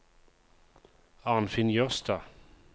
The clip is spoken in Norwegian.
Arnfinn Jørstad